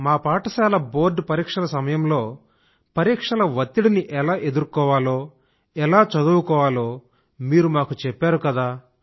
మా పాఠశాల బోర్డ్ పరీక్షల సమయంలో పరీక్షల వత్తిడిని ఎలా ఎదుర్కోవాలో ఎలా చదువుకోవాలో మీరు మాకు చెప్పారు కదా